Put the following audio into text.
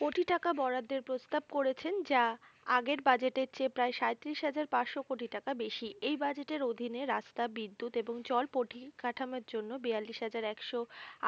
কোটি টাকা বরাদ্দের প্রস্তাব করেছেন যা আগের বাজেটের চেয়ে প্রায় সাঁইত্রিশ হাজার পাঁচশো কোটি টাকা বেশি। এই বাজেটের অধীনে রাস্তা বিদ্যুৎ এবং জল পরিকাঠামোর জন্য বিয়াল্লিশ হাজার একশো